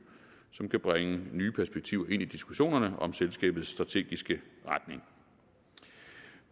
som kan bringe nye perspektiver ind i diskussionerne om selskabets strategiske retning